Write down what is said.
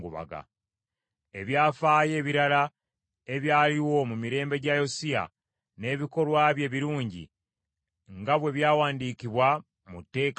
Ebyafaayo ebirala ebyaliwo mu mirembe gya Yosiya, n’ebikolwa bye ebirungi, nga bwe byawandiikibwa mu tteeka lya Mukama ,